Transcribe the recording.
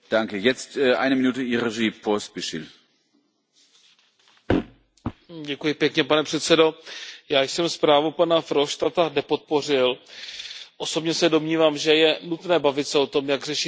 Pane předsedající, já jsem zprávu pana Verhofstadta nepodpořil, osobně se domnívám, že je nutné bavit se o tom, jak řešit problémy Evropy, ale podle mého názoru odpovědí na současné problémy není